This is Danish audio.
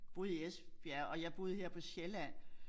Boede i Esbjerg og jeg boede her på Sjælland